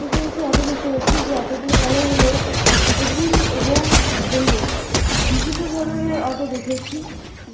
পেছনে একটি অটো দেখতে পাচ্ছি যে অটো -টির কালার হলো সবুজ এবং হলুদ বিভিন্ন ধরনের অটো দেখেছি উ--